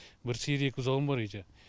бір сиыр екі бұзауым бар үйде